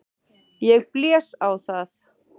Ég blés á það.